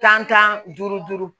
Tan tan duuru duuru